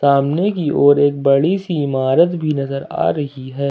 सामने की ओर एक बड़ी सी इमारत भी नजर आ रही है।